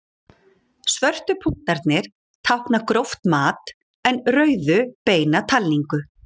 Svörtu punktarnir tákna gróft mat en rauðu beina talningu.